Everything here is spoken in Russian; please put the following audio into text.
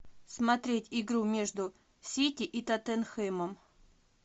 смотреть игру между сити и тоттенхэмом